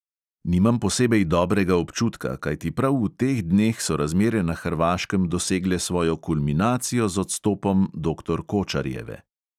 Nimam posebej dobrega občutka, kajti prav v teh dneh so razmere na hrvaškem dosegle svojo kulminacijo z odstopom doktor kočarjeve.